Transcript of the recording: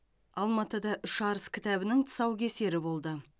алматыда үш арыс кітабының тұсаукесері болды